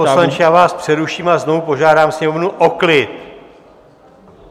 Pane poslanče, já vás přeruším a znovu požádám sněmovnu o klid.